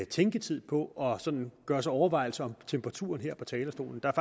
tænketid på at gøre sig overvejelser om temperaturen her på talerstolen der er